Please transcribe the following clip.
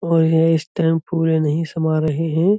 और यह इस टाइम फूले नहीं समा रहे हैं।